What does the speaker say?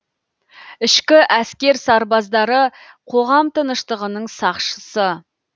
ішкі әскер сарбаздары қоғам тыныштығының сақшысы